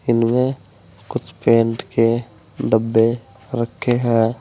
इनमें कुछ पेंट के डब्बे रखे हैं।